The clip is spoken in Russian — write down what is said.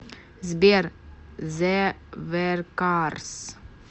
сбер зэ веркарс